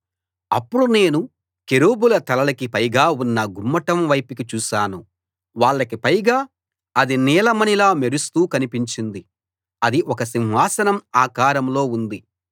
అప్పుడు నేను కెరూబుల తలలకి పైగా ఉన్న గుమ్మటం వైపుకి చూశాను వాళ్లకి పైగా అది నీలమణిలా మెరుస్తూ కనిపించింది అది ఒక సింహాసనం ఆకారంలో ఉంది